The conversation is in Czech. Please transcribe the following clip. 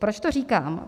Proč to říkám?